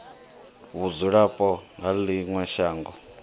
vhudzulapo ha ḽi ṅwe shango